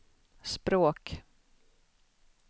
språk